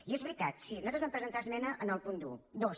i és veritat sí nosaltres vam presentar esmena en el punt dos